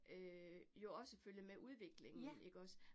Øh jo også følge med udviklingen ikke også